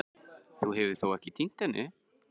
Þú hefur þó ekki. týnt henni?